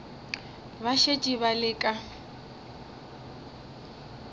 ba šetše ba le ka